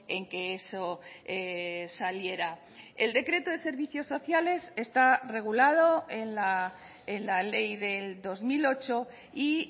en que eso saliera el decreto de servicios sociales está regulado en la ley del dos mil ocho y